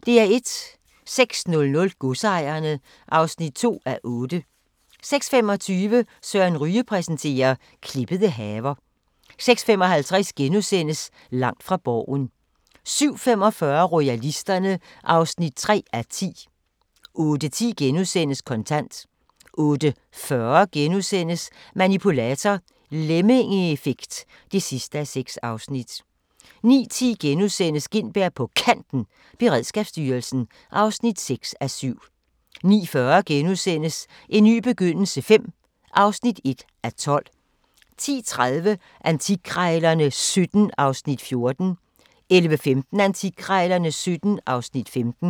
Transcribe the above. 06:00: Godsejerne (2:8) 06:25: Søren Ryge præsenterer - klippede haver 06:55: Langt fra Borgen * 07:45: Royalisterne (3:10) 08:10: Kontant * 08:40: Manipulator – Lemmingeeffekt (6:6)* 09:10: Gintberg på Kanten – Beredskabsstyrelsen (6:7)* 09:40: En ny begyndelse V (1:12)* 10:30: Antikkrejlerne XVII (Afs. 14) 11:15: Antikkrejlerne XVII (Afs. 15)